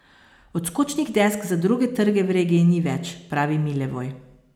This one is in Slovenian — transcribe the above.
Odskočnih desk za druge trge v regiji ni več, pravi Milevoj.